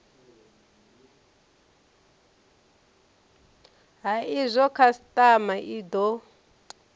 ha izwo khasitama i do